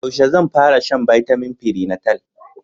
Yaushe zan fara shan bitamin prenatal?